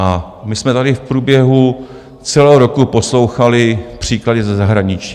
A my jsme tady v průběhu celého roku poslouchali příklady ze zahraničí.